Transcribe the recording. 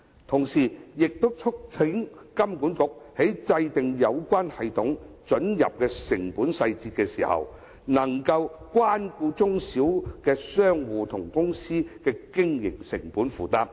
同時，我亦促請金管局在制訂有關准入系統的成本細節時，可以顧及中小型商戶和公司的經營成本負擔。